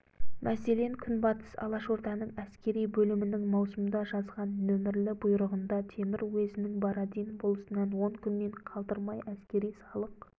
мәселен күнбатыс алашорданың әскери бөлімінің маусымда жазған нөмірлі бұйрығында темір уезінің бородин болысынан он күннен қалдырмай әскери салық